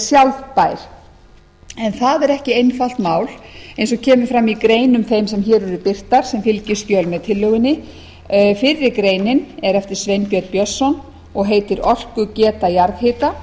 sjálfbær en það er ekki einfalt mál eins og kemur fram í greinum þeim sem hér eru birtar sem fylgiskjöl með tillögunni fyrri greinin er eftir sveinbjörn björnsson og heitir orkugeta jarðhita